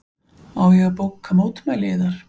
Á ég að bóka mótmæli yðar?